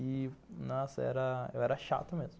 E, nossa, era... eu era chato mesmo.